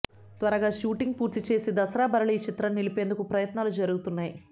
త్వరగా షూటింగ్ పూర్తి చేసి దసరా బరిలో ఈ చిత్రాన్ని నిలిపేందుకు ప్రయత్నాలు జరుగుతున్నాయి